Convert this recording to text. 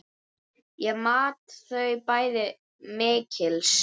Ég mat þau bæði mikils.